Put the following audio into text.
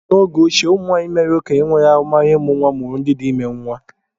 N'oge ochie, ụmụnwaanyị mère okenye nwere ahụmahụ ịmụ nwa mụrụ ndị dị ime nwa.